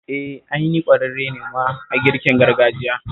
Eh, ai ni ƙwararre ne ma a girkin gargajiya